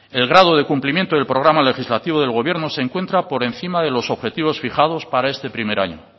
el grado de cumplimiento del programa legislativo del gobierno se encuentra por encima de los objetivos fijados para este primer año